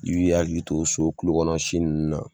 I b'i hakili to so kulo kɔnɔsi nunnu na